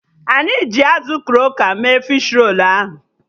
Anyị jirl azụ kroka mee fishi rolu ahụ